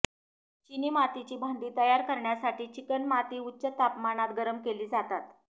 चिनी मातीची भांडी तयार करण्यासाठी चिकणमाती उच्च तापमानात गरम केली जातात